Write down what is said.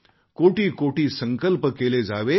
करोडो करोडो संकल्प केले जावेत